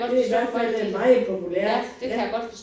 Det i hvert fald blevet meget populært ja